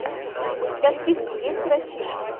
у тебя в списке есть грачи